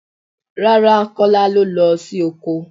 Rárá Kọ́lá lo lọ sí oko.